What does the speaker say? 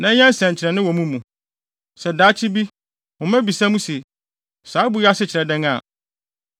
na ɛnyɛ nsɛnkyerɛnne wɔ mo mu. Sɛ daakye bi, mo mma bisa mo se, ‘Saa abo yi ase kyerɛ dɛn’ a,